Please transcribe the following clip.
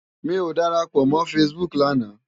Mi ó dárápò mò fãsibúk làná